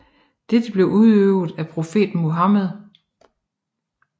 Dette blev udøvet af profeten Muhammed